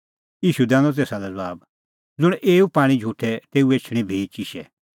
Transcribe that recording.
ईशू दैनअ तेसा लै ज़बाब ज़ुंण एऊ पाणीं झुटे तेऊ एछणी भी चिशै